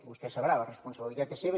vostè ho deu saber la responsabilitat és seva